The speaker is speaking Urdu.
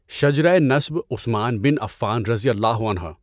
شجرۂ نسب عثمان بن عفان رضی اللہ عنہ